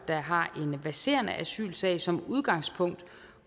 der har en verserende asylsag som udgangspunkt